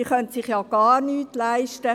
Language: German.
Die Behörden können sich gar nichts leisten.